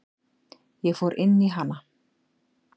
Ég fór inn í hana.